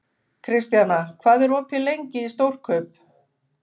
Kristjana, hvað er opið lengi í Stórkaup?